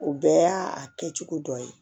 O bɛɛ y'a kɛ cogo dɔ ye